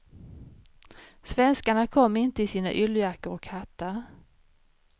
Svenskarna kom inte i sina yllejackor och hattar.